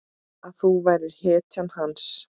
Að þú værir hetjan hans.